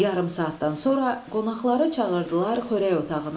Yarım saatdan sonra qonaqları çağırdılar xörək otağına.